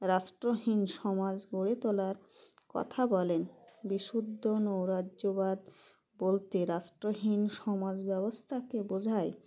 রাষ্ট্রহীন সমাজ গড়ে তোলার কথা বলেন বিশুদ্ধ নৈরাজ্যবাদ বলতে রাষ্ট্রহীন সমাজ ব্যবস্থাকে বোঝায়